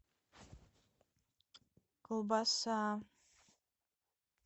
колбаса